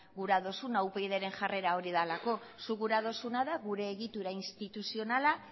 gure duzuna upydren jarrera hori delako zuk gura duzuna da gure egitura instituzionala